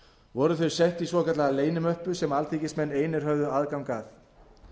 voru þau sett í svokallaða leynimöppu sem alþingismenn einir höfðu aðgang að